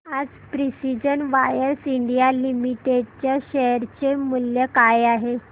आज precision wires India limited च्या share चे मूल्य काय आहे